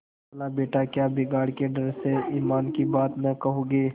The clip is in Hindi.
खालाबेटा क्या बिगाड़ के डर से ईमान की बात न कहोगे